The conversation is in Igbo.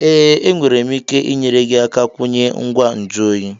Ee, enwere m ike inyere gị aka kwunye ngwa nju oyi